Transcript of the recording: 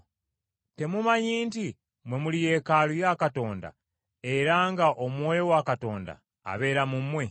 Temumanyi nti mmwe muli yeekaalu ya Katonda era nga Omwoyo wa Katonda abeera mu mmwe?